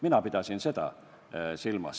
Mina pidasin seda silmas.